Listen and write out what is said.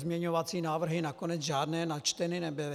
Pozměňovací návrhy nakonec žádné načteny nebyly.